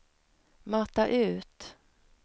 mata ut